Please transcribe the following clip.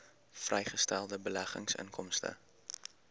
vrygestelde beleggingsinkomste